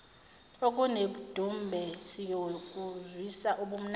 okunedumbe siyokuzwisa ubumnandi